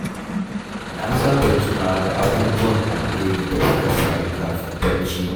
Na saba tunawa da abubuwan alheri da suka faru kafin barci.